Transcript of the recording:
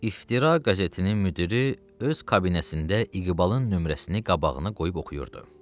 İftira qəzetinin müdiri öz kabinetində İqbalın nömrəsini qabağına qoyub oxuyurdu.